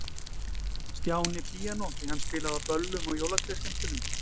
Stjáni píanó, því hann spilaði á böllum og jólatrésskemmtunum.